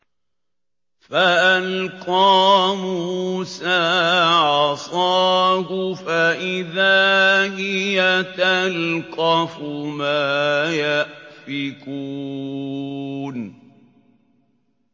فَأَلْقَىٰ مُوسَىٰ عَصَاهُ فَإِذَا هِيَ تَلْقَفُ مَا يَأْفِكُونَ